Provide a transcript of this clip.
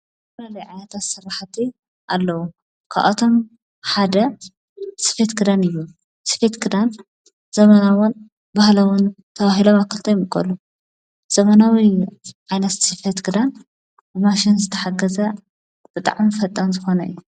ዝተፈላለዩ ዓይነታት ስራሕቲ አለዉ። ካብኣቶም ሓደ ስፌት ክዳን እዩ። ስፌት ክዳን ዘመናዊን ባህላዊን ተባሂሎም ኣብ ክልተ ይምቀሉ። ዘመናዊ ዓይነት ስፌት ክዳን ብማሽን ዝተሓገዘ ብጣዕሚ ፈጣን ዝኮነ እዩ።